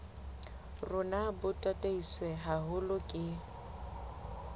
rona bo tataiswe haholo ke